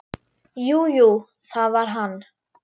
Jú, jú, það var hann.